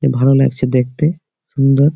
এ ভালো লাগছে দেখতে সুন্দর ।